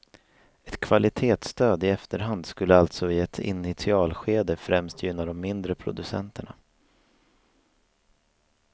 Ett kvalitetsstöd i efterhand skulle alltså i ett initialskede främst gynna de mindre producenterna.